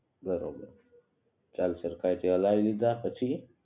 બરોબર ચાલ સરખાઈ થી હલાઈ લિધા પછી